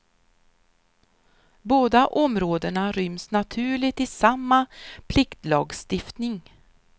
Båda områdena ryms naturligt i samma pliktlagstiftning.